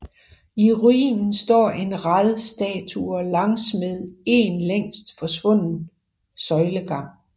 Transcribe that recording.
I ruinen står en rad statuer langsmed en længst forsvundet søjlegang